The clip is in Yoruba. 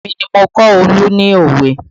Èmi ni mo kọ́ Olu ní òwe